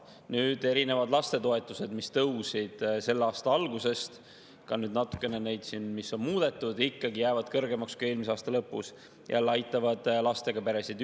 Nüüd, erinevad lastetoetused, mis tõusid selle aasta algusest – ka nüüd, kui neid natukene on muudetud, jäävad need ikkagi kõrgemaks kui eelmise aasta lõpus –, aitavad lastega peresid.